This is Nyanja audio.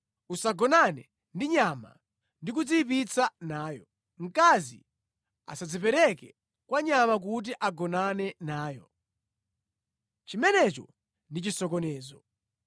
“ ‘Usagonane ndi nyama ndi kudziyipitsa nayo. Mkazi asadzipereke kwa nyama kuti agonane nayo. Chimenecho ndi chisokonezo.